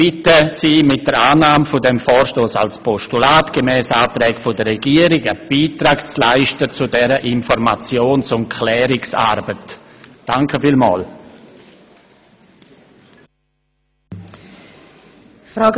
Ich bitte Sie, mit der Annahme dieses Vorstosses als Postulat gemäss Antrag der Regierung einen Beitrag zu dieser Informations- und Klärungsarbeit zu leisten.